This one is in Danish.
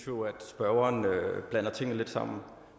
spørgeren blander tingene lidt sammen